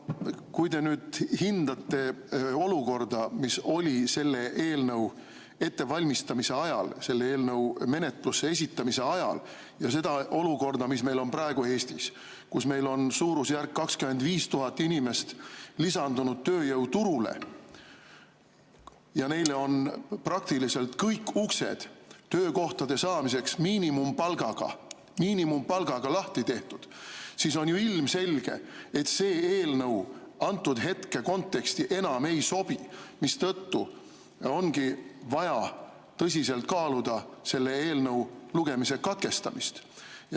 Kui te nüüd hindate olukorda, mis oli selle eelnõu ettevalmistamise ajal, selle menetlusse esitamise ajal, ja seda olukorda, mis meil on praegu Eestis, kus meil on suurusjärgus 25 000 inimest lisandunud tööjõuturule ja neile on praktiliselt kõik uksed miinimumpalgaga töökohtade saamiseks lahti tehtud, siis on ju ilmselge, et see eelnõu antud hetke konteksti enam ei sobi, mistõttu ongi vaja tõsiselt kaaluda selle eelnõu lugemise katkestamist.